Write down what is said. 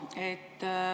Jaa.